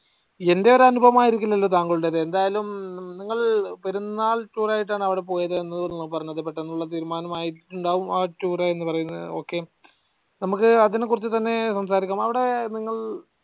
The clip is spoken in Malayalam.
എന്റെയൊരു അനുഭവമായിരിക്കില്ലല്ലോ താങ്കളുടേത് എന്തായാലും നിങ്ങൾ പെരുന്നാൾ tour ആയിട്ടാണ് അവടെ പോയതെന്ന് എന്നുള്ളതാണല്ലോ പറഞ്ഞത് പെട്ടന്നുള്ള തീരുമാനമായിട്ടുണ്ടാവും അ tour എന്ന പറയുന്നത് ok നമ്ക് അതിനെ കുറിച്ച് തന്നെ സംസാരിക്കാം അവടെ നിങ്ങൾ